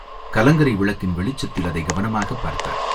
கலங்கரை விளக்கின் வெளிச்சத்தில் அதைக் கவனமாகப் பார்த்தார்.